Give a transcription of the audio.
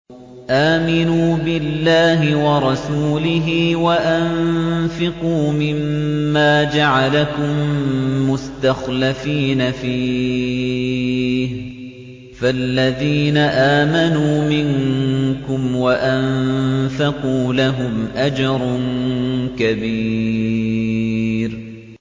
آمِنُوا بِاللَّهِ وَرَسُولِهِ وَأَنفِقُوا مِمَّا جَعَلَكُم مُّسْتَخْلَفِينَ فِيهِ ۖ فَالَّذِينَ آمَنُوا مِنكُمْ وَأَنفَقُوا لَهُمْ أَجْرٌ كَبِيرٌ